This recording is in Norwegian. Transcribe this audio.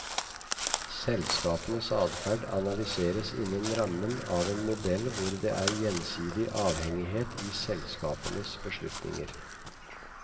Selskapenes adferd analyseres innen rammen av en modell hvor det er gjensidig avhengighet i selskapenes beslutninger.